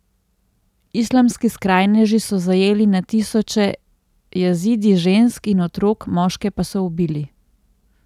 Islamski skrajneži so zajeli na tisoče Jazidi žensk in otrok, moške pa so ubili.